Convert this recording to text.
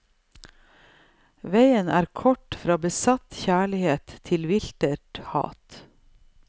Veien er kort fra besatt kjærlighet til viltert hat.